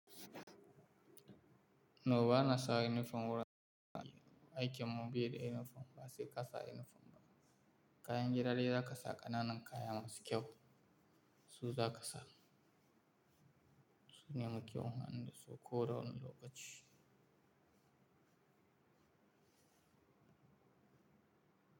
No bana sa inifom wurin aiki, aikin mu bai da inifom ba sai ka sa inifom ka. Kayan gida ne da za ka sa, ƙananan kaya masu kyau su za ka sa. Su ne mu muke amfani da su koda wane lokaci.